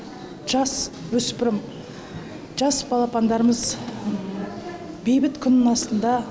жас өспірім жас балапандарымыз бейбіт күннің астында